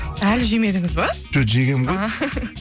әлі жемедіңіз бе жоқ жегенмін ғой а